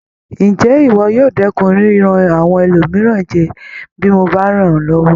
Ǹjé ìwọ yóò dẹ́kun yíyan àwọn ẹlòmíràn jẹ bí mo bá rán ọ́ lọ́wọ́?